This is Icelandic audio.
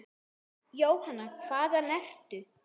Jóhanna: Hvaðan ertu?